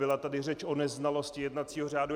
Byla tady řeč o neznalosti jednacího řádu.